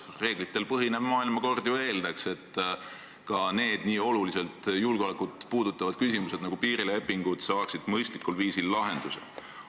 Reeglitel põhinev maailmakord ju eeldaks, et ka nii olulisel määral julgeolekut puudutavad küsimused nagu piirilepingud saaksid mõistlikul viisil lahenduse.